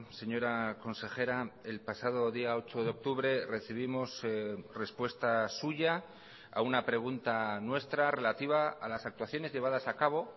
señora consejera el pasado día ocho de octubre recibimos respuesta suya a una pregunta nuestra relativa a las actuaciones llevadas a cabo